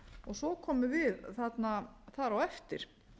svo komum við þarna þar á eftir